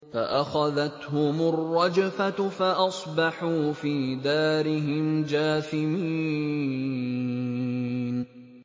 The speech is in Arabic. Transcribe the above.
فَأَخَذَتْهُمُ الرَّجْفَةُ فَأَصْبَحُوا فِي دَارِهِمْ جَاثِمِينَ